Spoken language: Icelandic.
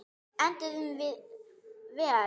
Enduðum við vel?